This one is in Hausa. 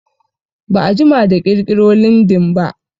Ba'a jima da ƙirƙiro lindin ba